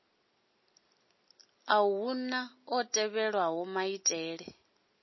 unḓa hu ḓo tevhelwa maitele